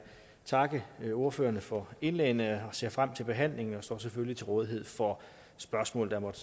takke ordførerne for indlæggene at jeg ser frem til behandlingen og selvfølgelig står til rådighed for spørgsmål der måtte